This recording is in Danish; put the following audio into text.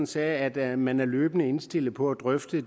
sagde at man er løbende indstillet på at drøfte